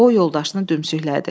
O yoldaşını dümsüklədi.